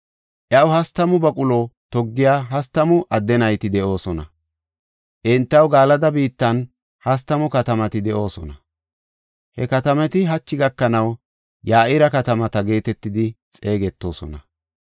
Iyaw hastamu baqulo toggiya hastamu adde nayti de7oosona. Entaw Galada biittan hastamu katamati de7oosona. He katamati hachi gakanaw Ya7ira katamata geetetidi xeegetoosona.